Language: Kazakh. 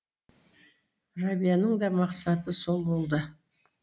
рәбияның да мақсаты сол болды